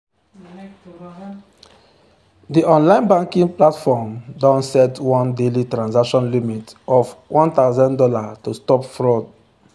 di online banking platform don set one daily transaction limit of one thousand dollars to stop fraud.